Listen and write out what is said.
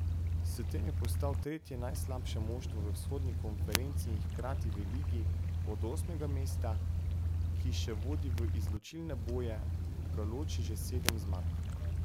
S tem je postal tretje najslabše moštvo v vzhodni konferenci in hkrati v ligi, od osmega mesta, ki še vodi v izločilne boje, ga loči že sedem zmag.